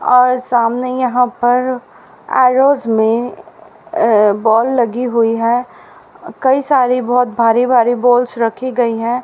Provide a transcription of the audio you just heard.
और सामने यहां पर एरोज में अह बॉल लगी हुई है कई सारी बहुत भारी भारी बॉल्स रखी गई हैं।